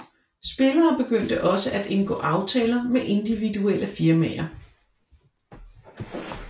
Spillere begyndte også at indgå aftaler med individuelle firmaer